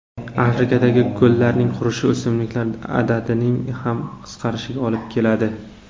Afrikadagi ko‘llarning qurishi o‘simliklar adadining ham qisqarishiga olib keladi.